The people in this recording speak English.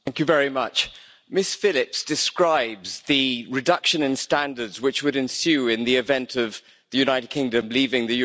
Ms Phillips describes the reduction in standards which would ensue in the event of the United Kingdom leaving the European Union.